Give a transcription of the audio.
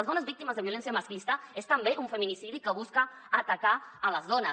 les dones víctimes de violència masclista és també un feminicidi que busca atacar les dones